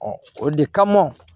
o de kama